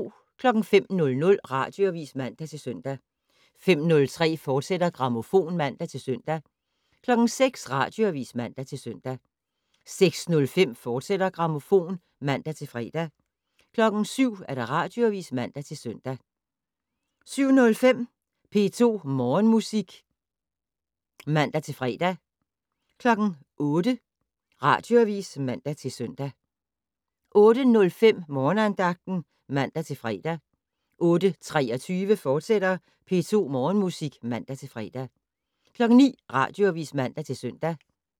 05:00: Radioavis (man-søn) 05:03: Grammofon *(man-søn) 06:00: Radioavis (man-søn) 06:05: Grammofon, fortsat (man-fre) 07:00: Radioavis (man-søn) 07:05: P2 Morgenmusik (man-fre) 08:00: Radioavis (man-søn) 08:05: Morgenandagten (man-fre) 08:23: P2 Morgenmusik, fortsat (man-fre) 09:00: Radioavis (man-søn)